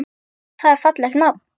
Það er fallegt nafn.